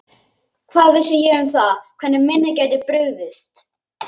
Hvað vissi ég um það hvernig minnið gæti brugðist?